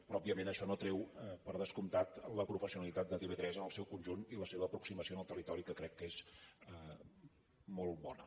però òbviament això no treu per descomptat la professionalitat de tv3 en el seu conjunt i la seva aproximació al territori que crec que és molt bona